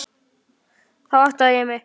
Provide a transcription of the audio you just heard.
Þá áttaði ég mig.